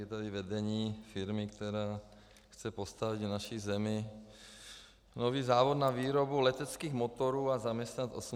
Je tady vedení firmy, která chce postavit v naší zemi nový závod na výrobu leteckých motorů a zaměstnat 880 lidí.